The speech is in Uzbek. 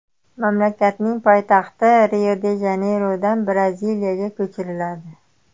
Mamlakatning poytaxti Rio-de-Janeyrodan Braziliyaga ko‘chiriladi.